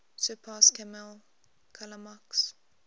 surpass kammel kalamak's